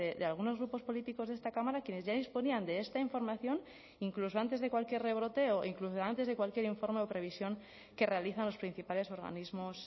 de algunos grupos políticos de esta cámara quienes ya disponían de esta información incluso antes de cualquier rebrote o incluso antes de cualquier informe o previsión que realizan los principales organismos